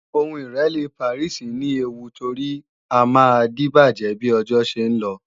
Ìlo Ìrẹ́lé Pàríìsì ní ewu torí á máa díbàjẹ́ bí ọjọ́ ṣe ń lọ